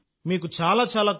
నేను నిజంగా కృతజ్ఞుడిని